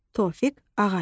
Tofiq Ağayev.